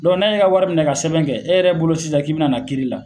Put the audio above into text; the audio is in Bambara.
n'a ye e ka wari minɛ ka sɛbɛn kɛ e yɛrɛ bolo sisan k'i bɛna na kiiri la.